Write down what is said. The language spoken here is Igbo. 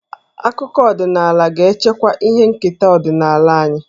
Akụkọ ọdịnaala ga-echekwa ihe nketa ọdịnala anyị.